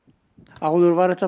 áður var þetta